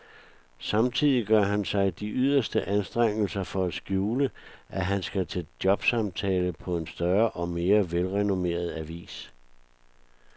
Samtidig gør han sig de yderste anstrengelser for at skjule, at han skal til jobsamtale på en større og mere velrenommeret avis.